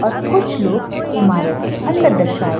और कुछ लोग इमारत के अंदर दर्शाये --